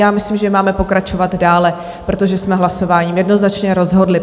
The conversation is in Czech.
Já myslím, že máme pokračovat dále, protože jsme hlasováním jednoznačně rozhodli.